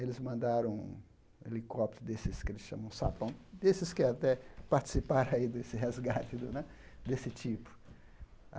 Eles mandaram um helicóptero desses que eles chamam sapão, desses que até participaram aí desse resgate né, desse tipo.